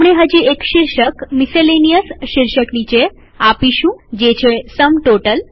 આપણે હજી એક શીર્ષક મીસેલેનીયસ શીર્ષક નીચે આપીશું જે છે સમ ટોટલ